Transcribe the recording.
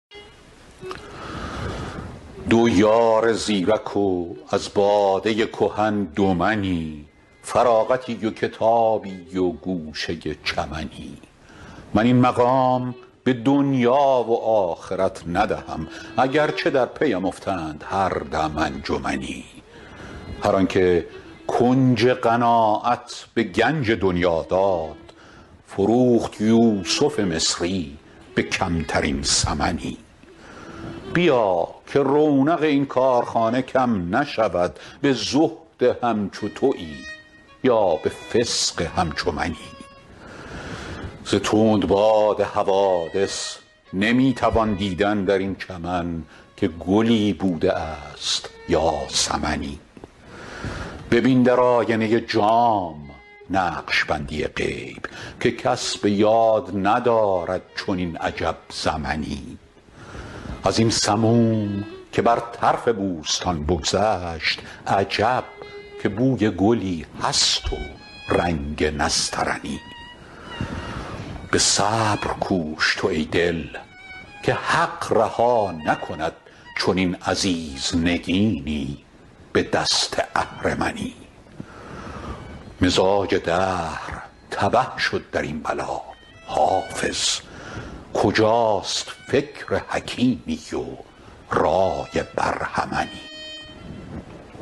دو یار زیرک و از باده کهن دو منی فراغتی و کتابی و گوشه چمنی من این مقام به دنیا و آخرت ندهم اگر چه در پی ام افتند هر دم انجمنی هر آن که کنج قناعت به گنج دنیا داد فروخت یوسف مصری به کمترین ثمنی بیا که رونق این کارخانه کم نشود به زهد همچو تویی یا به فسق همچو منی ز تندباد حوادث نمی توان دیدن در این چمن که گلی بوده است یا سمنی ببین در آینه جام نقش بندی غیب که کس به یاد ندارد چنین عجب زمنی از این سموم که بر طرف بوستان بگذشت عجب که بوی گلی هست و رنگ نسترنی به صبر کوش تو ای دل که حق رها نکند چنین عزیز نگینی به دست اهرمنی مزاج دهر تبه شد در این بلا حافظ کجاست فکر حکیمی و رای برهمنی